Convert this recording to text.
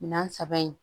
Minan saba in